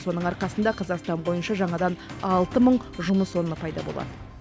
соның арқасында қазақстан бойынша жаңадан алты мың жұмыс орны пайда болады